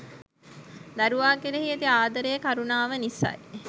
දරුවා කෙරෙහි ඇති ආදරය, කරුණාව නිසයි.